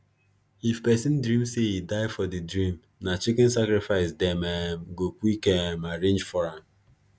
if person dream say e die for the dream na chicken sacrifice dem um go quick um arrange for am